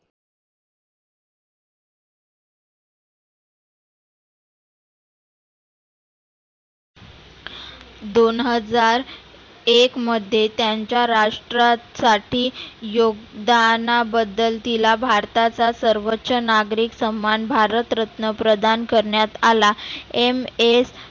दोन हजार एक मध्ये त्यांच्या राष्ट्रासाठी योगदानाबद्दल तीला भारताचा सर्वोच्च नागरीक सनमान भारत रत्न प्रदान करण्यात आला MS